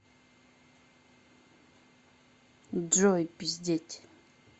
джой пиздеть